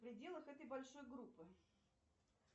в пределах этой большой группы